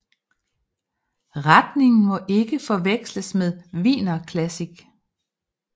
Retningen må ikke forveksles med wienerklassik